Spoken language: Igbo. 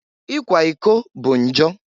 Ikwa iko bụ njọ.